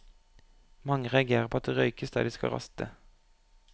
Mange reagerer på at det røykes der de skal raste.